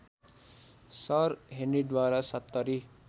sir हेनरीद्वारा सत्तरी